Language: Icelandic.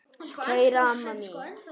Kæra amma mín.